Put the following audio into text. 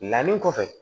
Danni kɔfɛ